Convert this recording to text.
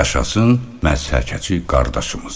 Yaşasın məhsəkəçi qardaşımız.